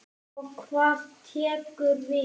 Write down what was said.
Og hvað tekur við?